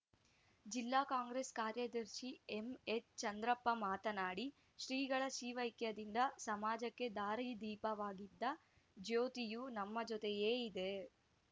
ಜಿಲ್ಲಾ ಕಾಂಗ್ರೆಸ್‌ ಕಾರ್ಯದರ್ಶಿ ಎಂಎಚ್‌ ಚಂದ್ರಪ್ಪ ಮಾತನಾಡಿ ಶ್ರೀಗಳ ಶಿವೈಕ್ಯದಿಂದ ಸಮಾಜಕ್ಕೆ ದಾರಿದೀಪವಾಗಿದ್ದ ಜ್ಯೋತಿಯು ನಮ್ಮ ಜೊತೆಯೇ ಇದೆ